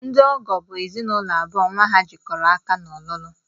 Ndị ọgọ bụ ezinụlọ abụọ nnwa ha jikọrọ aka n'ọlụlụ